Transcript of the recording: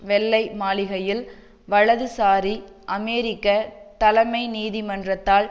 வெள்ளை மாளிகையில் வலதுசாரி அமெரிக்க தலைமை நீதிமன்றத்தால்